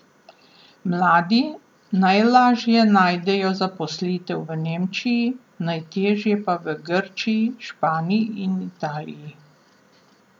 Mladi najlažje najdejo zaposlitev v Nemčiji, najtežje pa v Grčiji, Španiji in Italiji.